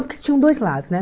Porque tinham dois lados, né?